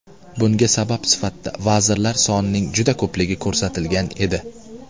Bunga sabab sifatida vazirlar sonining juda ko‘pligi ko‘rsatilgan edi.